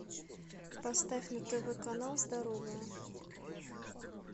поставь на тв канал здоровая